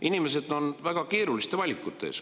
Inimesed on väga keeruliste valikute ees.